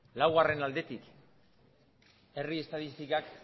laugarren aldetik herri estatistikak